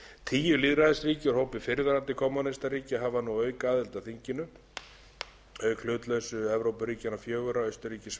tíu lýðræðisríki úr hópi fyrrverandi kommúnistaríkja hafa nú aukaaðild að þinginu auk hlutlausu evrópuríkjanna fjögurra austurríkis sviss